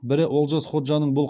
бірі олжас ходжаның бұл